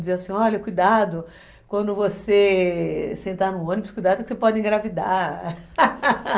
Diziam assim, olha, cuidado, quando você... sentar no ônibus, cuidado que você pode engravidar